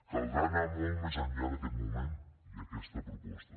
caldrà anar molt més enllà d’aquest moment i aquesta proposta